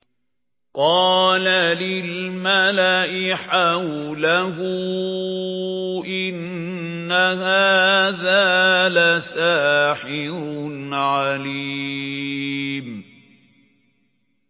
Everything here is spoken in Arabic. قَالَ لِلْمَلَإِ حَوْلَهُ إِنَّ هَٰذَا لَسَاحِرٌ عَلِيمٌ